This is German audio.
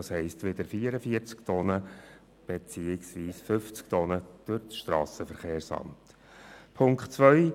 Das heisst, es gilt eine Bewilligungspflicht durch das SVSA für Transporte über 44 respektive 50 Tonnen.